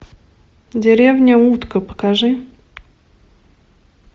деревня утка покажи